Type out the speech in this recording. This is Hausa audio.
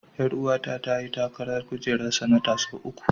Ƴaruwa ta ta yi takarar kujerar sanata sau uku.